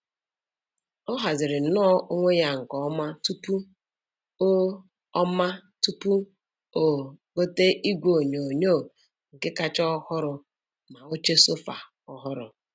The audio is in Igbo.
O hazirinnọ onwe ya nke ọma tupu o ọma tupu o gote igwe onyonyo nke kacha ọhụrụ ma oche sofa ọhụrụ.